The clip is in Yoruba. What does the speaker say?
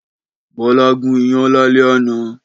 Bọ́lá gún iyán lálẹ́ àná.